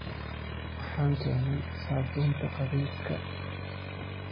Waxaan keenay saabuunta qubayska.